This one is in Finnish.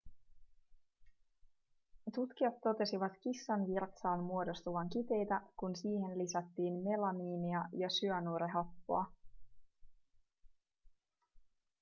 tutkijat totesivat kissan virtsaan muodostuvan kiteitä kun siihen lisättiin melamiinia ja syanuurihappoa